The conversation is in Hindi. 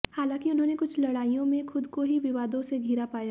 हालांकि उन्होंने कुछ लड़ाइयों में खुद को ही विवादों से घिरा पाया